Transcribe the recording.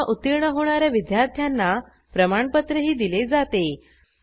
परीक्षा उत्तीर्ण होणा या विद्यार्थ्यांना प्रमाणपत्रही दिले जाते